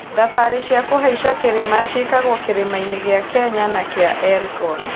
Thabarĩ cia kũhaica kĩrĩma ciĩkagwo kĩrĩma-inĩ gĩa Kenya na kĩa Elgon.